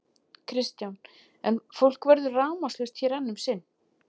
Kristján: En fólk verður rafmagnslaust hér enn um sinn?